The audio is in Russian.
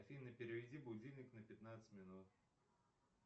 афина переведи будильник на пятнадцать минут